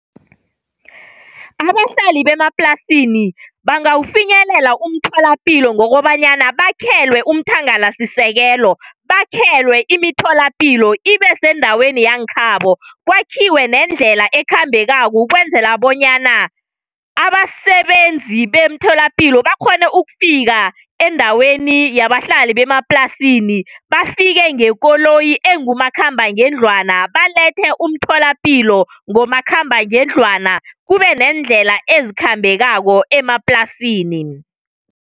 Abahlali bemaplasini bangawufinyelela umtholapilo ngokobanyana bakhelwe umthangalasisekelo, bakhelwe imitholapilo ibe sendaweni yankhabo kwakhiwe nendlela ekhambelakako ukwenzela bonyana abasebenzi beemtholapilo bakghone ukufika endaweni yabahlali bemaplasini bafike ngekoloyi engumakhamba ngendlwana balethe umtholapilo ngomakhamba ngendlwana kube neendlela ezikhambekako emaplasini.